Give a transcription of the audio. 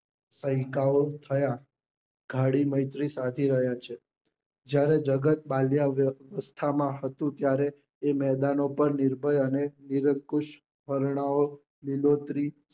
થયા ગાડી મૈત્રી સાચી રહ્યા છે જયારે જગત બાળ્યાવસ્થા માં હતું ત્યારે એ મેદાનો પર નિર્ભર અને વર્ણા ઓ લીલોતરી